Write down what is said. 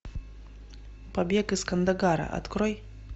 побег из кандагара открой